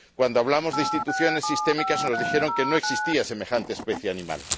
Cuando hablamos de instituciones sistémicas, nos dijeron que no existía semejante especie animal.